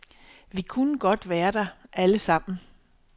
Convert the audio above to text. Vi kunne godt være der alle sammen.